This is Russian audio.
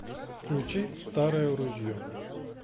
включи старое ружье